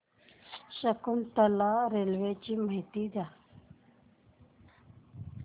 Shakuntala railway ची माहिती द्या